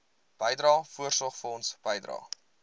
bydrae voorsorgfonds bydrae